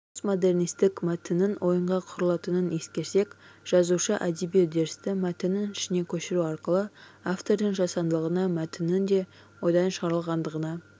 постмодернистік мәтіннің ойынға құрылатынын ескерсек жазушы әдеби үдерісті мәтіннің ішіне көшіру арқылы автордың жасандылығына мәтіннің де ойдан шығарылғандығына